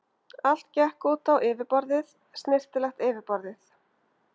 Allt gekk út á yfirborðið, snyrtilegt yfirborðið.